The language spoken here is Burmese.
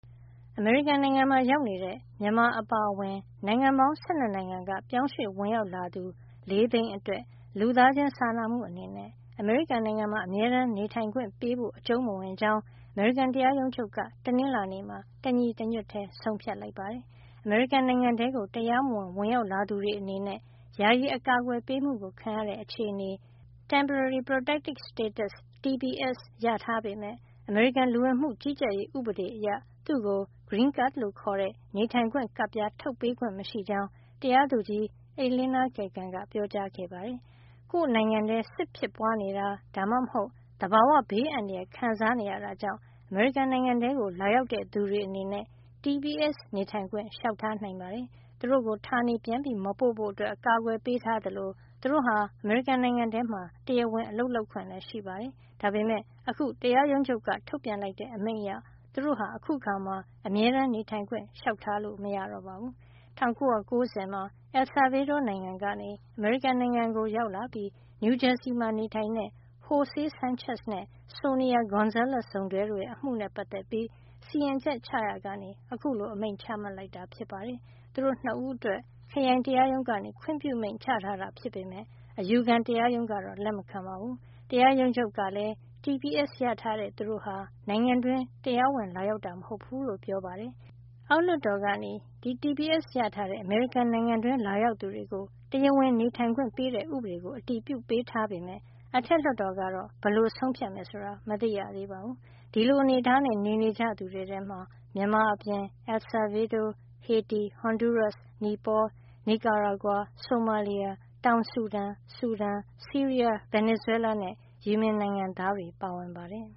အမေရိကန်နိုင်ငံမှာ ရောက်နေတဲ့ မြန်မာအပါအဝင် နိုင်ငံပေါင်း ၁၂ နိုင်ငံက ပြောင်းရွှေ့ဝင်ရောက်လာသူ ၄ သိန်း အတွက် လူသားချင်းစာနာမှု အနေနဲ့ အမေရိကန်မှာ အမြဲတမ်းနေထိုင်ခွင့်ပေးဖို့ အကြုံးမဝင်ကြောင်း အမေရိကန်တရားရုံးချုပ်က တနင်္လာနေ့မှာ တညီတညွတ်ထည်း ဆုံးဖြတ်လိုက်ပါတယ်။ အမေရိကန်နိုင်ငံထဲကို တရားမဝင်ဝင်ရောက်လာသူတွေ အနေနဲ့ ယာယီအကာကွယ်ပေးမှု ခံရတဲ့ အခြေနေ (Temporary Protected Status) TPS ရထား ပေမယ့် အမေရိကန်လူဝင်မှုကြီးကြပ်ရေး ဥပဒေအရ သူ့ကို green cards လို့ခေါ်တဲ့ နေထိုင်ခွင့် ကပ်ပြား ထုတ်ပေးခွင့် မရှိကြောင်း တရာသူကြီး Elena Kagan က ပြောကြားခဲ့ပါတယ်။ ကိုယ့်နိုင်ငံထဲ စစ်ဖြစ်ပွားနေတာ ဒါမှမဟုတ် သဘာဝဘေးအန္တရာယ် ခံစားနေရတာကြောင့် အမေရိကန်နိုင်ငံထဲကို လာရောက်တဲ့ သူတွေ အနေနဲ့ TPS နေထိုင်ခွင့် လျှောက်ထားနိုင်ပါတယ်။ သူတို့ကို ဌာနေပြန်မပို့ဖို့ အကာကွယ်ပေးထားသလို သူတို့ဟာ အမေရိကန် နိုင်ငံထဲမှာ တရားဝင် အလုပ်လုပ်ခွင့်ရှိပါတယ်။ ဒါပေမယ့် အခု တရားရုံးချုပ်က ထုတ်ပြန်လိုက်တဲ့ အမိန့်အရ သူတို့ဟာ အခုအခါမှာ အမြဲတမ်းနေထိုင်ခွင့် လျှောက်ထားလို့ မရတော့ပါဘူး။ ၁၉၉၀ မှာ El Salvador နိုင်ငံကနေ အမေရိကန်နိုင်ငံကို ကို ရောက်လာပြီး နယူးဂျာစီမှာ နေထိုင်တဲ့ Jose Sanchez နဲ့ Sonia Gonzales စုံတွဲရဲ့ အမှုနဲ့ ပတ်သက်ပြီး စီရင်ချက်ချရာကနေ အခုလို အမိန့်ချမှတ်လိုက်တာ ဖြစ်ပါတယ်။ သူတို့ ၂ ဦးအတွက် ခရိုင်တရားရုံးက ခွင့်ပြုမိန့်ချထားတာ ဖြစ်ပေမယ့် အယူခံတရားရုံးက လက်မခံပါဘူး။ တရားရုံးချုပ်ကလည်း TSP ရထားတဲ့ သူတို့ဟာ နိုင်ငံတွင်း တရားဝင်လာရောက်တာ မဟုတ်ဘူးလို့ ပြောပါတယ်။ အောက်လွှတ်တော်က TPS ရထားတဲ့ အမေရိကန်နိုင်ငံတွင်းလာရောက်သူတွေကို တရားဝင်နေထိုင်ခွင့် ပေးတဲ့ ဥပဒေကို အတည်ပြုပေးထားပေမယ့် အထက်လွှတ်တော်ကတော့ ဘယ်လို ဆုံးဖြတ်မယ် ဆိုတာ မသိရသေးပါဘူး။ ဒီလို အနေထားနဲ့ နေနေကြတဲ့ သူတွေထဲမှာ မြန်မာအပြင် El Salvador၊ ဟေတီ၊ ဟွန်ဒူးရပ်စ်၊ နိပေါ၊ နီကာရာဂွာ၊ ဆိုမာလီယာ၊ တောင်ဆူဒန်၊ ဆူဒန်၊ ဆီးရီးယား၊ ဗင်နီဇွဲလားနဲ့ ယီမင်နိုင်ငံသားတွေပါ ပါဝင်ပါတယ်